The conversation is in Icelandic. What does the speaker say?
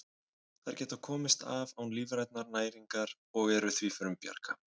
Þær geta komist af án lífrænnar næringar og eru því frumbjarga.